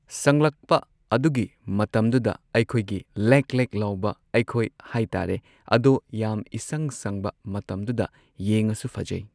ꯁꯪꯂꯛꯄ ꯑꯗꯨꯒꯤ ꯃꯇꯝꯗꯨꯗ ꯑꯩꯈꯣꯏꯒꯤ ꯂꯦꯛ ꯂꯦꯛ ꯂꯥꯎꯕ ꯑꯩꯈꯣꯏ ꯍꯥꯏꯇꯥꯔꯦ ꯑꯗꯣ ꯌꯥꯝ ꯏꯁꯪ ꯁꯪꯕ ꯃꯇꯝꯗꯨꯗ ꯌꯦꯡꯉꯁꯨ ꯐꯖꯩ꯫